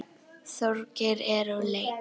Þorgeir er úr leik.